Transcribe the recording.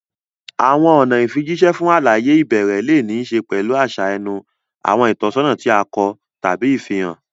Àwọn ọ̀nà ìfijíṣẹ́ fún àlàyé ìbẹ̀rẹ̀ lè ní í ṣe pẹ̀lú àṣà ẹnu, àwọn ìtọ́sọ́nà tí a kọ, tàbí ìfihàn.